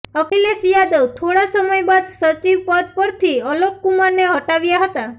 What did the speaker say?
અખિલેશ યાદવ થોડા સમય બાદ સચિવ પદ પરથી અલોક કુમારને હટાવ્યા હતા